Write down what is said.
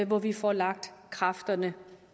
hvor vi får lagt kræfterne